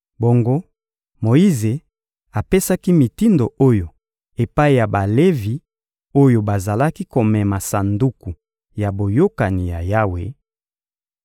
Bongo Moyize apesaki mitindo oyo epai ya Balevi oyo bazalaki komema Sanduku ya Boyokani ya Yawe: